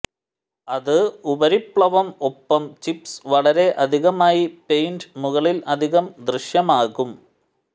അത് ഉപരിപ്ലവം ഒപ്പം ചിപ്സ് വളരെ അധികമായി പെയിന്റ് മുകളിൽ അധികം ദൃശ്യമാകും